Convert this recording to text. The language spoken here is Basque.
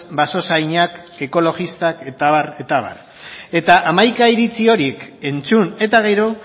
basozainak ekologistak eta abar eta abar eta hamaika iritzi horiek entzun eta gero